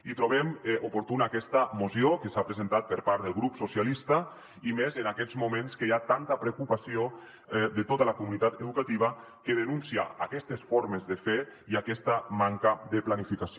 i trobem oportuna aquesta moció que s’ha presentat per part del grup socialistes i més en aquests moments que hi ha tanta preocupació de tota la comunitat educativa que denuncia aquestes formes de fer i aquesta manca de planificació